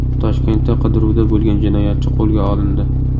Toshkentda qidiruvda bo‘lgan jinoyatchi qo‘lga olindi.